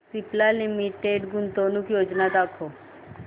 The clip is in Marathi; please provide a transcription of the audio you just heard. सिप्ला लिमिटेड गुंतवणूक योजना दाखव